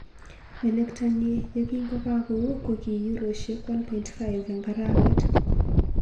Melektonnyi ye kingokakou ko ki euroisiek 1.5 eng arawet.